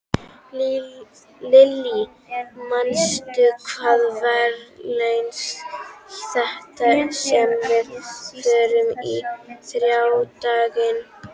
Lillý, manstu hvað verslunin hét sem við fórum í á þriðjudaginn?